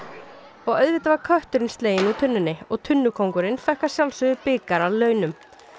og auðvitað var kötturinn sleginn úr tunnunni og fékk að sjálfsögðu bikar að launum